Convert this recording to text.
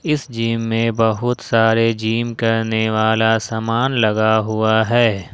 इस जिम में बहुत सारे जिम करने वाला सामान लगा हुआ है।